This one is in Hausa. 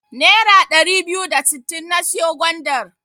Nera ɗari biyu da sittin na siyo gwandar.